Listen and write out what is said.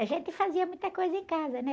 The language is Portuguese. A gente fazia muita coisa em casa, né?